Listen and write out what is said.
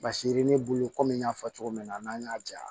Basi ye ne bolo komi n y'a fɔ cogo min na n'an y'a ja